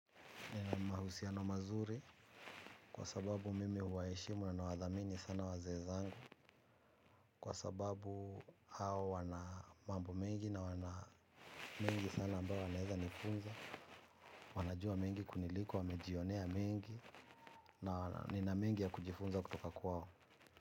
Nina mahusiano mazuri kwa sababu mimi huwaheshimu na nawadhamini sana wazee zangu. Kwa sababu hao wana mambo mingi na wana mengi sana ambayo wanaezanifunza. Wanajua mengi kuniliko wamejionea mengi na nina mengi ya kujifunza kutoka kwao.